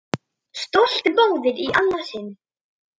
Stolt móðir í annað sinn.